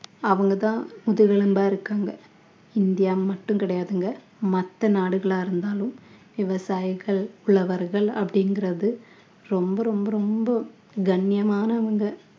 அவங்க தான் முதுகெலும்பா இருக்காங்க இந்தியா மட்டும் கிடையாதுங்க மத்த நாடுகளா இருந்தாலும் விவசாயிகள் உழவர்கள் அப்படிங்கறது ரொம்ப ரொம்ப ரொம்ப கண்ணியமானவங்க